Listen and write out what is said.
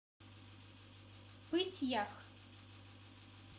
пыть ях